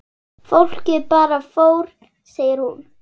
Fólkið bara fór segir hún.